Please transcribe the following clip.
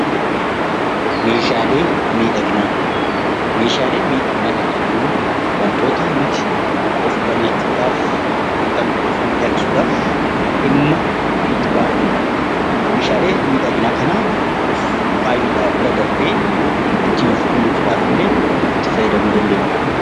Meeshaalee miidhaginaa Meeshaalee miidhaginaa kan jennu wantoota nuti of bareechuu dhaaf yookaan of miidhagsuu dhaaf dhimma itti baanu dha. Meeshaalee miidhaginaa kana of faayuu dhaaf bira darbee ittiin of kunuunsuudhaaf illee itti fayyadamuu dandeenya.